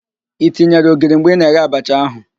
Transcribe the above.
I tinyere ogiri mgbe ị na-eghe abacha ahụ?